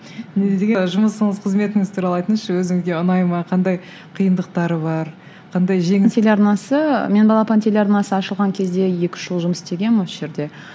жұмысыңыз қызметіңіз туралы айтыңызшы өзіңізге ұнай ма қандай қиындықтары бар қандай телеарнасы мен балапан телеарнасы ашылған кезде екі үш жыл жұмыс істегенмін осы жерде